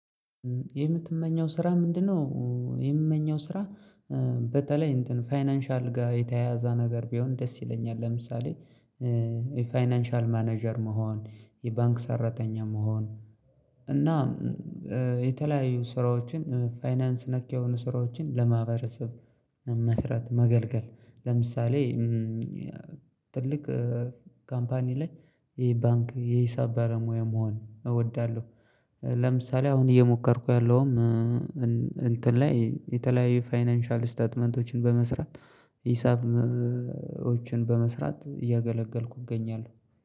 የምትመኘው ስራ ምንድነው? የምመኘው ስራ በተለይ እንትን ፋይናንሻል ጋር የተያያዛ ነገር ቢሆን ደስ ይለኛል። ለምሳሌ። የፋይናንሻል ማኔጀር መሆን የባንክ ሰራተኛ መሆን። እና የተለያዩ ስራዎችን ፋይናንስ ነክ የሆኑ ስራዎችን ለማህበረሰብ መስራት መገልገል። ለምሳሌ። ትልቅ ካምፓኒ ላይ ይሄ ባንክ የሂሳብ ባለሙያ መሆን እወዳለሁ። ለምሳሌ አሁን እየሞከርኩ ያለውም። እንትን ላይ የተለያየ ፋይናንሻል ስታትመንቶችን በመስራት ሂሳቦችን በመስራት እያገለገልኩ እገኛለሁ